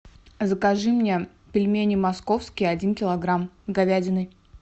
закажи мне пельмени московские один килограмм с говядиной